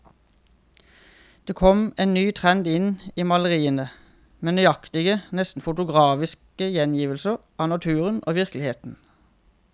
Det kom en ny trend inn i maleriene, med nøyaktig, nesten fotografisk gjengivelse av naturen og virkeligheten.